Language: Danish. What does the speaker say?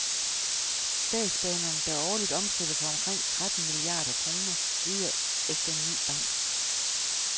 Statsbanerne, der årligt omsætter for omkring tretten milliarder kroner, leder efter en ny bank.